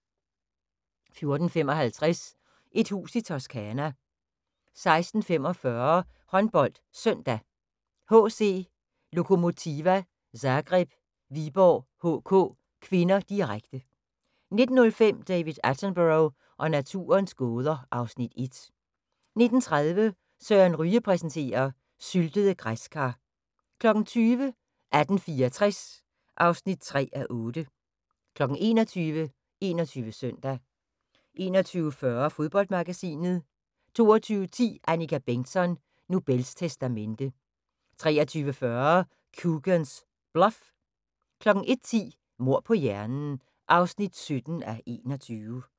14:55: Et hus i Toscana 16:45: HåndboldSøndag: HC Lokomotiva Zagreb-Viborg HK (k), direkte 19:05: David Attenborough og naturens gåder (Afs. 1) 19:30: Søren Ryge præsenterer: Syltede græskar 20:00: 1864 (3:8) 21:00: 21 Søndag 21:40: Fodboldmagasinet 22:10: Annika Bengtzon: Nobels testamente 23:40: Coogan's Bluff 01:10: Mord på hjernen (17:21)